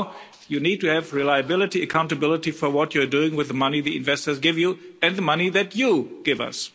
No, you need to have reliability and accountability for what you're doing with the money that investors give you and the money that you give us.